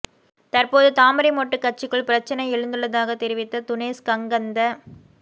தற்போது தாமரை மொட்டு கட்சிக்குள் பிரச்சினை எழுந்துள்ளதாக தெரிவித்த துனேஸ் கங்கந்த